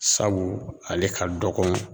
Sabu ale ka dɔgɔn